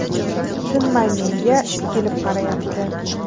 Tinmay menga tikilib qarayapti.